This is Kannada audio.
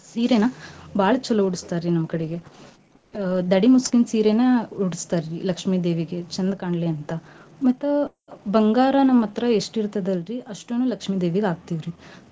ಸೀರೇನ ಬಾಳ್ ಚಲೋ ಉಡಸ್ತಾರಿ ನಮ್ ಕಡೆಗೆ ಅಹ್ ದಡಿ ಮುಸ್ಕಿನ್ ಸೀರಿನ ಉಡಸ್ತಾರಿ ಲಕ್ಷ್ಮೀ ದೇವಿಗೆ ಚಂದ್ ಕಾಣ್ಲಿ ಮತ್ತ ಬಂಗಾರ ನಮ್ ಹತ್ರ ಎಷ್ಟ್ ಇರ್ತೇತ್ ಅಲ್ರೀ ಅಷ್ಟೂನೂ ಲಕ್ಷ್ಮೀ ದೇವಿಗ ಹಾಕ್ತೇವ ರಿ.